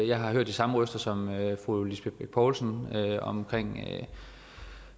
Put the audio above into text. jeg har hørt de samme røster som fru lisbeth bech poulsen omkring